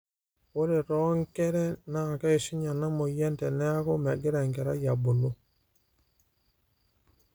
ore too nkere naa keishunye ena moyian teneeku megira enkerai abulu